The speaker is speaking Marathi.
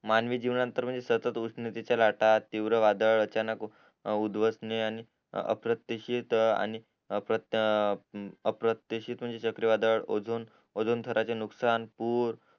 मानवी जीवना नंतर म्हणजे सतत उष्णतेच्या लाटा तीर्व वादळ अचानक उध्दवस ने आणि अप्रत्येक शीत म्हणजे चक्री वादळ ओझून थराचे नुकसान पूर